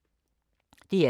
DR2